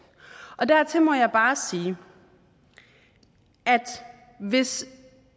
dertil må jeg bare sige at hvis